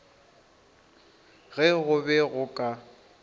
ge go be go ka